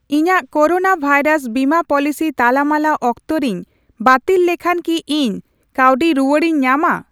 ᱤᱧᱟᱜ corona virus ᱵᱤᱢᱟ policy ᱛᱟᱞᱟᱢᱟᱞᱟ ᱚᱠᱛᱚᱨᱮᱧ ᱵᱟᱹᱛᱤᱞ ᱞᱮᱠᱷᱟᱱ ᱠᱤ ᱤᱧ ᱠᱟᱹᱣᱰᱤ ᱨᱩᱣᱟᱹᱲᱤᱧ ᱧᱟᱢᱟ ?